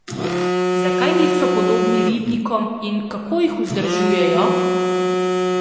Zakaj niso podobni ribnikom in kako jih vzdržujejo?